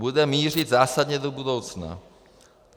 Bude mířit zásadně do budoucna.